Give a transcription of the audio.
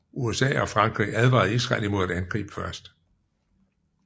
USA og Frankrig advarede Israel imod at angribe først